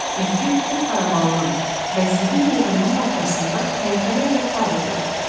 Güzgü bu xarabalığın və zibil yığınının ortasında təntənə ilə parıldayırdı.